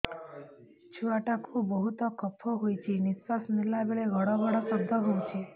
ଛୁଆ ଟା କୁ ବହୁତ କଫ ହୋଇଛି ନିଶ୍ୱାସ ନେଲା ବେଳେ ଘଡ ଘଡ ଶବ୍ଦ ହଉଛି